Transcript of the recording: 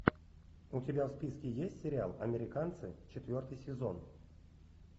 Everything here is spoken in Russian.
у тебя в списке есть сериал американцы четвертый сезон